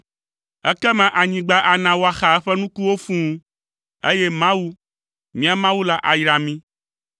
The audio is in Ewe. Ekema anyigba ana woaxa eƒe nukuwo fũu, eye Mawu, míaƒe Mawu la ayra mí.